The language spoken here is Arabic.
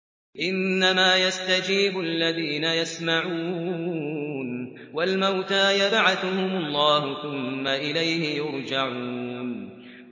۞ إِنَّمَا يَسْتَجِيبُ الَّذِينَ يَسْمَعُونَ ۘ وَالْمَوْتَىٰ يَبْعَثُهُمُ اللَّهُ ثُمَّ إِلَيْهِ يُرْجَعُونَ